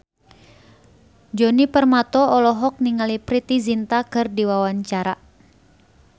Djoni Permato olohok ningali Preity Zinta keur diwawancara